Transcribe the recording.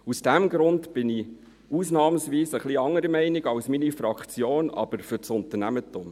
Aus diesem Grund bin ich ausnahmsweise etwas anderer Meinung als meine Fraktion, aber ich bin für das Unternehmertum.